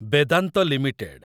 Vedanta limited